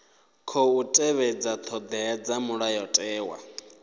khou tevhedza thodea dza mulayotewa